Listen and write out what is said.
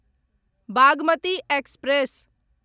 Bagmati express